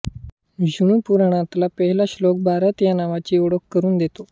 विष्णू पुराणातला पहिला श्लोक भारत या नावाची ओळख करून देतो